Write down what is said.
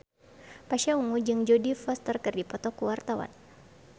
Pasha Ungu jeung Jodie Foster keur dipoto ku wartawan